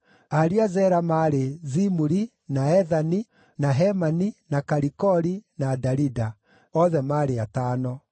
Ariũ a Zera maarĩ: Zimuri, na Ethani, na Hemani, na Kalikoli, na Darida; othe maarĩ atano.